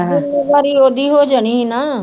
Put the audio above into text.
ਜ਼ਿੰਮੇਵਾਰੀ ਉਹਦੀ ਹੋ ਜਾਣੀ ਸੀ ਨਾ